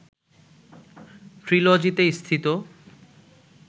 ‘ট্রিলজি’তে স্থিত